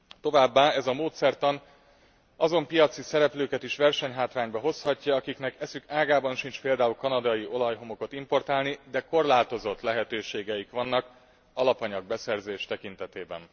Továbbá ez a módszertan azon piaci szereplőket is versenyhátrányba hozhatja, akiknek eszük ágában sincs például kanadai olajhomokot importálni, de korlátozott lehetőségeik vannak alapanyagbeszerzés tekintetében.